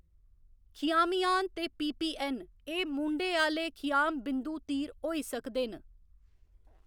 खियामिआन ते पीपीऐन्न ए मूंढे आह्‌‌‌ले खियाम बिंदु तीर होई सकदे न।